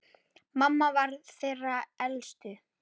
Mamma var þeirra elst.